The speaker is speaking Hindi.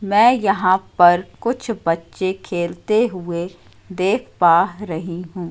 मैं यहां पर कुछ बच्चे खेलते हुए देख पा रही हूं।